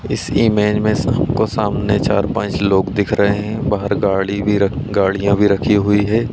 इस इमेज में हमको सामने चार-पाँच लोग दिख रहे हैं बाहर गाड़ी भी गाड़ियाँ भी रखी हुई हैं।